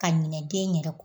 Ka ɲinɛ den yɛrɛ kɔ